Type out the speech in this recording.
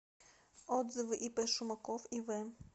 отзывы ип шумаков ив